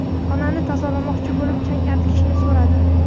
Xonani tozalamoqchi bo‘lib, chang artkichni so‘radim.